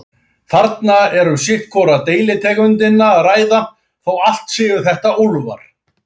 Þarna er um sitt hvora deilitegundina að ræða, þó allt séu þetta úlfar.